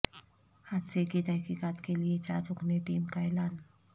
حادثے کی تحقیقات کے لیے چار رکنی ٹیم کا اعلان